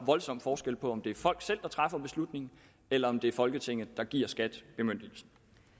voldsom forskel på om det er folk selv der træffer beslutningen eller om det er folketinget der giver skat bemyndigelsen